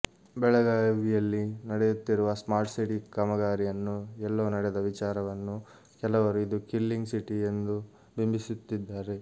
ಬೆಳಗಾವಿಯಲ್ಲಿ ನಡೆಯುತ್ತಿರುವ ಸ್ಮಾರ್ಟ್ಸಿಟಿ ಕಾಮಗಾರಿಯನ್ನು ಎಲ್ಲೋ ನಡೆದ ವಿಚಾರನ್ನು ಕೆಲವರು ಇದು ಕಿಲ್ಲಿಂಗ್ ಸಿಟಿ ಎಂದು ಬಿಂಬಿಸುತ್ತಿದ್ದಾರೆ